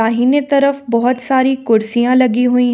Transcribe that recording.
दाहिने तरफ बहुत सारी कुर्सियां लगी हुई हैं।